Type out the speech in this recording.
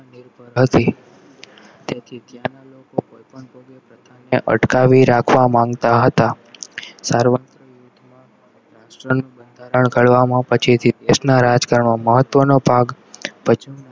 તેથી ત્યાંના લોકો કોઈપણ પ્રથા ને અટકાવી રાખવા માંગતા હતા રાષ્ટ્રનું બંધારણ કરવામાં પછી મહત્વનો ભાગ